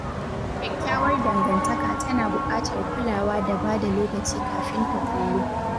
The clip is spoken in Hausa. Kyakkyawar dangantaka tana buƙatar kulawa da ba da lokaci kafin ta ƙullu